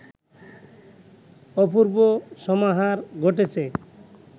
অপূর্ব সমাহার ঘটেছে